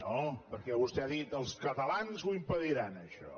no perquè vostè ha dit els catalans ho impediran això